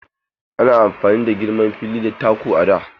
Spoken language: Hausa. Ana auna girman fili da taku a da.